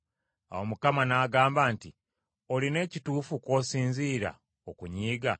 Awo Mukama n’agamba nti, “Olina ekituufu kw’osinziira okunyiiga?”